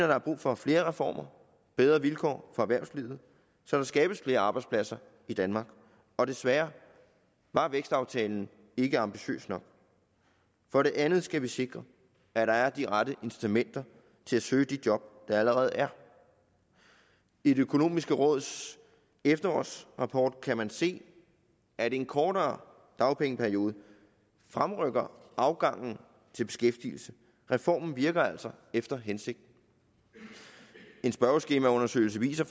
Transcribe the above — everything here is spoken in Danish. der er brug for flere reformer og bedre vilkår for erhvervslivet så der skabes flere arbejdspladser i danmark og desværre var vækstaftalen ikke ambitiøs nok for det andet skal vi sikre at der er de rette incitamenter til at søge de job der allerede er i det økonomiske råds efterårsrapport kan man se at en kortere dagpengeperiode fremrykker afgangen til beskæftigelse reformen virker altså efter hensigten en spørgeskemaundersøgelse viser